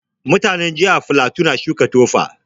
Mutanin jihar flatu na suka Tufa